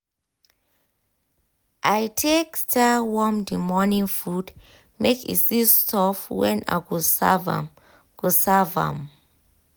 i take style warm the morning food make e still soft when i go serve am." go serve am."